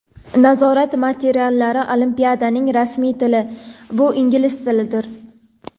Nazorat materiallari: Olimpiadaning rasmiy tili - bu ingliz tilidir.